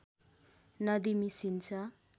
नदी मिसिन्छ